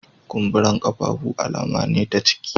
Kumburen kafafu alama ne ta ciki